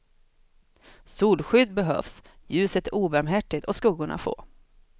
Solskydd behövs, ljuset är obarmhärtigt och skuggorna få.